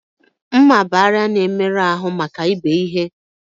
M̀mà bụ àrịá na-emerụ ahụ maka ibe ihe